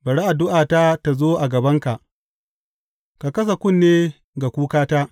Bari addu’ata ta zo a gabanka; ka kasa kunne ga kukata.